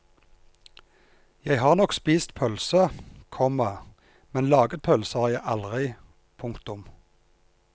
Jeg har nok ett pølse, komma men laget pølse har jeg aldri. punktum